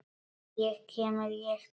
Ég kem rétt strax.